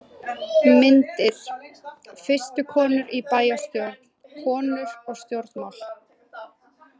Myndir: Fyrstu konur í bæjarstjórn: Konur og stjórnmál.